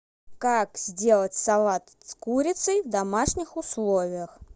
как сделать салат с курицей в домашних условиях